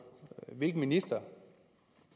hvilken minister